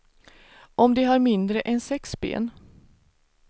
Om de har mindre än sex ben.